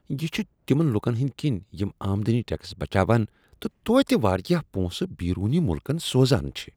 یہ چھُ تِمن لُکن ہٕنٛدۍ كِنہِ یِم آمدنی ٹیکس بچاوان تہٕ توتہِ واریاہ پونسہٕ بیرونی مُلکن سوزان چھِ ۔